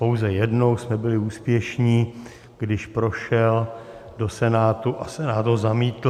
Pouze jednou jsme byli úspěšní, když prošel do Senátu a Senát ho zamítl.